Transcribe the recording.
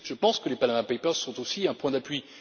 Je pense que les Panama papers sont aussi un point d'appui.